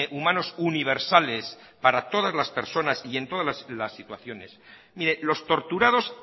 humanos universales para todas las personas y en todas las situaciones mire los torturados